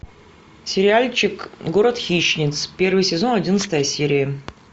сериальчик город хищниц первый сезон одиннадцатая серия